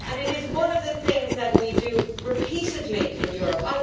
It is one of the things that we do repeatedly in Europe.